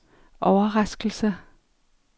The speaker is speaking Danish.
overraskelse